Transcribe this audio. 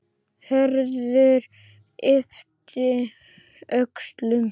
Hörður yppti öxlum.